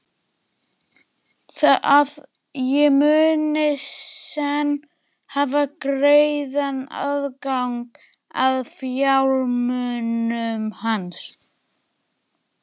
Að ég muni senn hafa greiðan aðgang að fjármunum hans?